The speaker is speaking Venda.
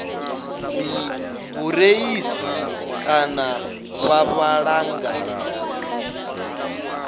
dzibureiḽi kana vha vhala nga